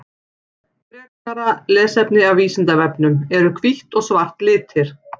Frekara lesefni af Vísindavefnum: Eru hvítt og svart litir?